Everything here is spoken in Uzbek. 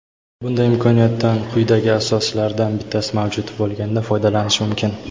Bunday imkoniyatdan quyidagi asoslardan bittasi mavjud bo‘lganda foydalanish mumkin:.